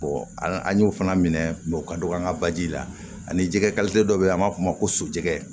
an y'o fana minɛ o ka dɔgɔ an ka baji la ani jɛgɛ dɔ bɛ yen an b'a fɔ o ma ko sojɛgɛ